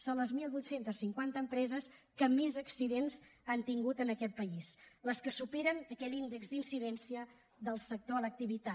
són les divuit cinquanta empreses que més accidents han tingut en aquest país les que superen aquell índex d’incidència del sector a l’activitat